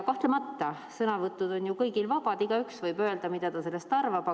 Kahtlemata on sõnavõtud ju kõigile vabad, igaüks võib öelda, mida ta sellest arvab.